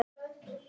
segir Guðrún.